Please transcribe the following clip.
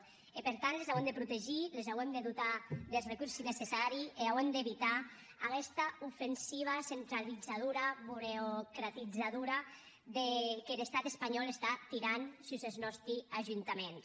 e per tant les auem de protegir les auem de dotar des recorsi necessaris e auem d’evitar aguesta ofensiva centralizadora burocratizadora qu’er estat espanhòu està tirant sus es nòsti ajuntaments